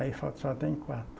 Aí falta só tem quatro.